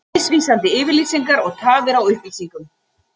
Misvísandi yfirlýsingar og tafir á upplýsingum